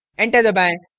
enter दबाएं